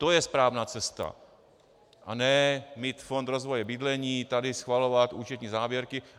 To je správná cesta, a ne mít fond rozvoje bydlení, tady schvalovat účetní závěrky.